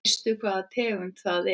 Veistu hvaða tegund það er?